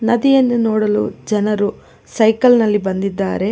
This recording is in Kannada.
ನದಿಯನ್ನು ನೋಡಲು ಜನರು ಸೈಕಲ್ ನಲ್ಲಿ ಬಂದಿದ್ದಾರೆ.